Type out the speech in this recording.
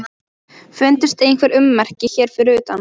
Fundust einhver ummerki hér fyrir utan?